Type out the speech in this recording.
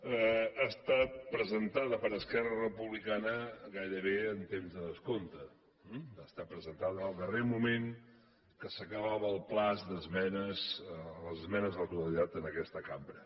ha estat presentada per esquerra republicana gairebé en temps de descompte va ser presentada en el darrer moment quan s’acabava el termini d’esmenes a la totalitat en aquesta cambra